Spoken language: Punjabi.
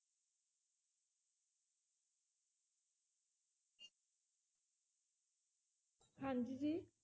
ਹਾਂਜੀ ਜੀ